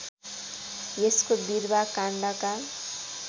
यसको बिरुवा काण्डका